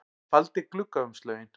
Hann faldi gluggaumslögin